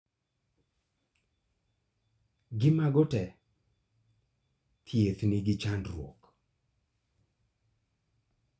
Gi mago tee, thiedh nigi chandruok